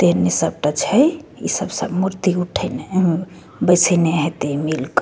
तेहने सबटा छै इ सब सब मूर्ति उठेने उम्म्म बेएसने हेते मिलके।